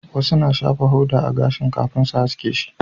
Wasu na shafa hoda a gashin kafin su haske shi